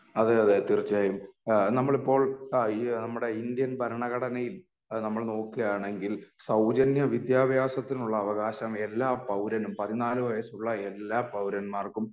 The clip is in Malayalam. അതെയതെ തീർച്ചയായും അഹ് നമ്മളിപ്പോൾ അഹ് നമ്മുടെ ഇന്ത്യൻ ഭരണഘടനയിൽ നമ്മൾ നോക്കുക്കയാണെങ്കിൽ സൗജന്യ വിദ്യാഭ്യാസത്തിനുള്ള അവകാശം എല്ലാ പൗരനും പതിനാല് വയസ്സുള്ള എല്ലാ പൗരന്മാർക്കും